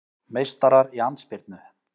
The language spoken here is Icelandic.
Meistarar í andspyrnu